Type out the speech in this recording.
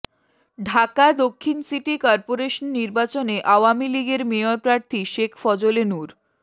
ঢাকা দক্ষিণ city corporation নির্বাচনে আওয়ামী লীগের মেয়র প্রার্থী শেখ ফজলে নূর